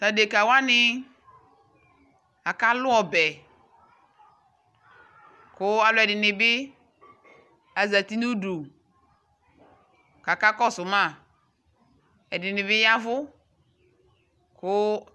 tʋ adɛka wani akalʋ ɔbɛ kʋ alʋɛdini bi adʋ ʋdʋ kʋ aka kɔsʋ ma, ɛdinibi yavʋ kʋ